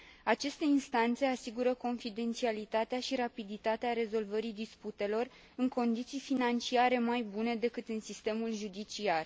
Aceste instanțe asigură confidențialitatea și rapiditatea rezolvării disputelor în condiții financiare mai bune decât în sistemul judiciar.